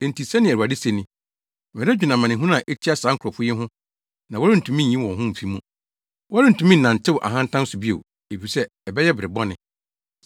Enti, sɛnea Awurade se ni, “Meredwene amanehunu a etia saa nkurɔfo yi ho na worentumi nyi wo ho mfi mu. Worentumi nnantew ahantan so bio, efisɛ ɛbɛyɛ bere bɔne.